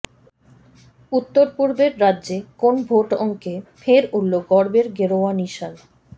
উত্তরপূর্বের রাজ্যে কোন ভোট অঙ্কে ফের উড়ল গর্বের গেরুয়া নিশান